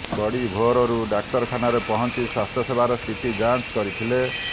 ବଡ଼ି ଭୋରରୁ ଡାକ୍ତରଖାନାରେ ପହଁଚି ସ୍ୱାସ୍ଥ୍ୟସେବାର ସ୍ଥିତି ଯାଂଚ କରିଥିଲେ